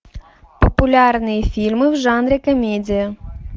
популярные фильмы в жанре комедия